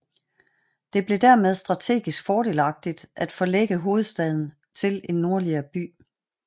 Det blev dermed strategisk fordelagtigt at forlægge hovedstaden til en nordligere by